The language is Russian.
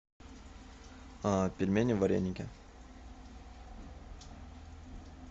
пельмени вареники